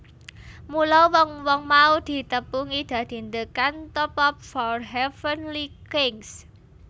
Mula wong wong mau ditepungi dadi The Cantopop Four Heavenly Kings